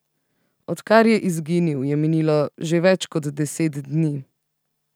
Odkar je izginil, je minilo že več kot deset dni.